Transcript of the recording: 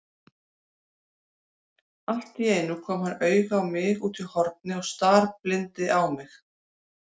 Alltíeinu kom hann auga á mig útí horni og starblíndi á mig.